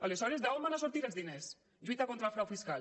aleshores d’on sortiran els diners lluita contra el frau fiscal